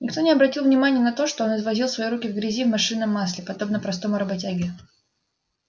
никто даже не обратил внимания на то что он извозил свои руки в грязи и машинном масле подобно простому работяге